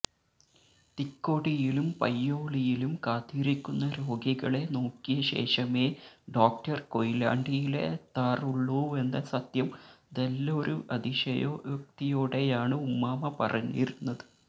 തിക്കോടിയിലും പയ്യോളിയിലും കാത്തിരിക്കുന്ന രോഗികളെ നോക്കിയശേഷമേ ഡോക്ടര് കൊയിലാണ്ടിയിലെത്താറുള്ളൂവെന്ന സത്യം തെല്ലൊരു അതിശയോക്തിയോടെയാണു ഉമ്മാമ പറഞ്ഞിരുന്നത്